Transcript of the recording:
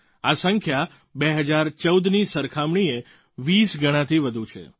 આ સંખ્યા 2014ની સરખામણીએ 20 ગણાથી વધુ છે